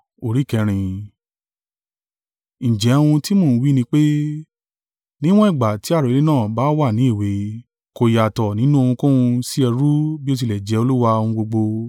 Ǹjẹ́ ohun tí mo ń wí ni pé, níwọ̀n ìgbà tí àrólé náà bá wà ní èwe, kò yàtọ̀ nínú ohunkóhun sí ẹrú bí ó tilẹ̀ jẹ́ Olúwa ohun gbogbo.